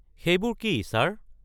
সেইবোৰ কি, ছাৰ?